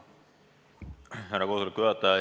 Härra koosoleku juhataja!